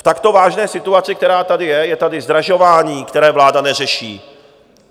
V takto vážné situaci, která tady je - je tady zdražování, které vláda neřeší.